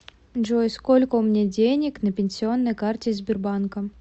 джой сколько у меня денег на пенсионной карте сбербанка